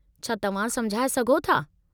छा तव्हां समुझाए सघो था?